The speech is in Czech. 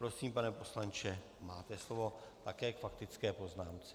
Prosím, pane poslanče, máte slovo také k faktické poznámce.